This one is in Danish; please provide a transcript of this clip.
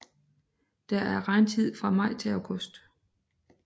Det er regntid fra maj til august